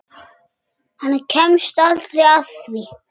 Hann kemst aldrei að því.